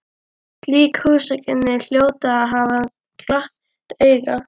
Slík húsakynni hljóta að hafa glatt auga